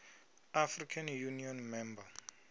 african union member